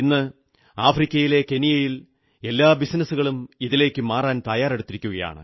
ഇന്ന് ആഫ്രിക്കയിലെ കെനിയയിൽ എല്ലാ ബിസിനസ്സുകളും ഇതിലേക്കു മാറാൻ തയ്യാറായിരിക്കുകയാണ്